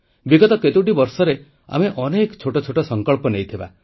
ବିଗତ କେତୋଟି ବର୍ଷରେ ଆମେ ଅନେକ ଛୋଟ ଛୋଟ ସଂକଳ୍ପ ନେଇଥିବା